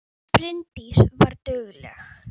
Bryndís var dugleg.